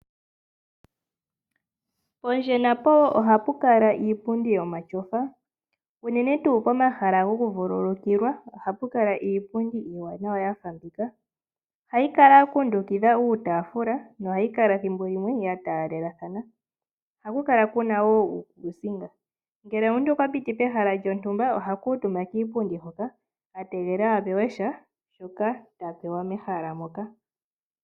Pondje napo ohapu kala iipundi yomatyofa, unene tuu pomahal agokuvululukilwa ohapu kala iipundi iiwanawa ya fa mbika. Ohayi kala ya kundukidha iitaafula nohayi kala thimbo limwe ya taalelathana. Ohaku kala wo ku na uukuusinga. Ngele omuntu okwa piti pehala lyontumba, oha kuutumba kuupundi hoka a tegelela a pewe sha shoka ta pewa mehala moka.